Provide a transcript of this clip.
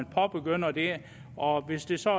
påbegynder det og hvis det så